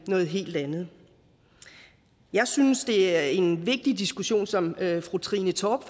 noget helt andet jeg synes det er en vigtig diskussion som fru trine torp